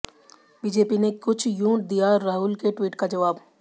BJP ने कुछ यूं दिया राहुल के ट्वीट का जवाब